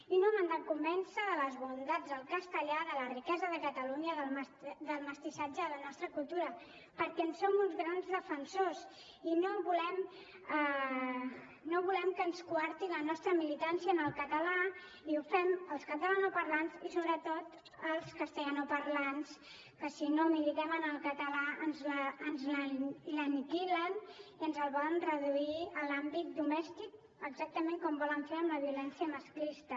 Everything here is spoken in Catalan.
i no m’han de convèncer de les bondats del castellà de la riquesa de catalunya del mestissatge de la nostra cultura perquè en som uns grans defensors i no volem que ens coartin la nostra militància en el català i ho fem els catalanoparlants i sobretot els castellanoparlants que si no militem en el català ens l’aniquilen i ens el volen reduir a l’àmbit domèstic exactament com volen fer amb la violència masclista